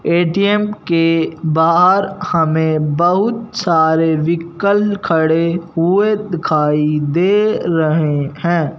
ATM के बाहर हमें बहुत सारे व्हीकल खड़े हुए दिखाई दे रहे हैं।